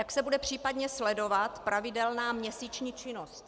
Jak se bude případně sledovat pravidelná měsíční činnost?